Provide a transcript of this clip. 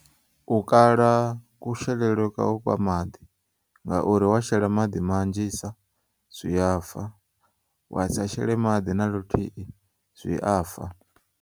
U kala kushelele kwau kwamaḓi ngauri washela maḓi manzhisa zwi afa, wa sa shele maḓi naluthihi, zwi afa.